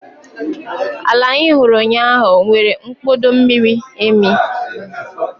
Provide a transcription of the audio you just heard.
Ala anyị hụrụ ụnyahụ nwere mkpọda miri emi